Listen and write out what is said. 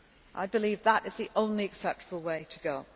I believe that is the only acceptable way to